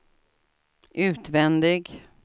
utvändig